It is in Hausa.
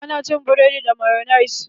Ana cin buredi da mayonis.